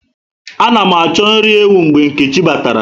Ana mụ achọ nri ewu mgbe Nkechi bàtàrà